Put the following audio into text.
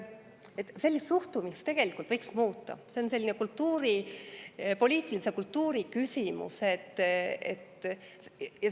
Sellist suhtumist tegelikult võiks muuta, see on poliitilise kultuuri küsimus.